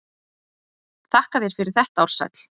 Þakka þér fyrir þetta Ársæll.